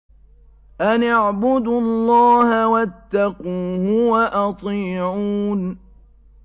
أَنِ اعْبُدُوا اللَّهَ وَاتَّقُوهُ وَأَطِيعُونِ